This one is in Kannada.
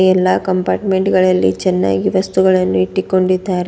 ಎಲ್ಲಾ ಕಂಪಾರ್ಟಮೆಂಟ್ ಗಳಲ್ಲಿ ಚೆನ್ನಾಗಿ ವಸ್ತುಗಳನ್ನು ಇಟ್ಟಿಕೊಂಡಿದ್ದಾರೆ.